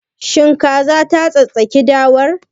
Shin kazar ta tsattsagi dawar?